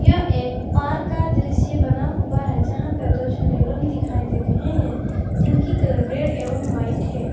यह एक पार्क का दृश्य बना हुआ है जहां पर दो छोटे रूम दिखाई दे रहे हैं जिनकी कलर रेड एवं व्हाइट है।